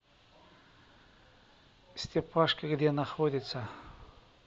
степашка где находится